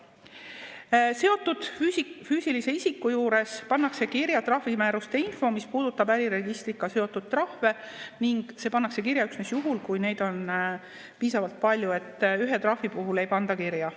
seotud füüsilise isiku juures pannakse kirja trahvimääruste info, mis puudutab äriregistriga seotud trahve, ning see pannakse kirja üksnes juhul, kui neid on piisavalt palju, nii et ühe trahvi puhul ei panda kirja.